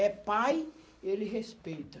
É pai, ele respeita.